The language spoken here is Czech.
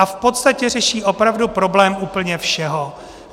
A v podstatě řeší opravdu problém úplně všeho.